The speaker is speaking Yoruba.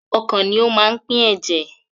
Ọkàn ni ó máa ń pín ẹ̀jẹ̀.